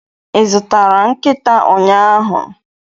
Ị zụtara nkịta ụnyahụ?